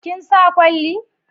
Kin sa kwalli